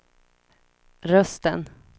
rösten